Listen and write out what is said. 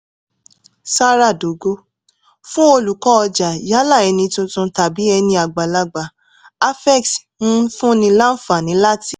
zara dogo: fún olùkọ́ ọjà yálà ẹni tuntun tàbí ẹni àgbàlagbà afex ń fúnni láǹfààní láti